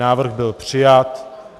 Návrh byl přijat.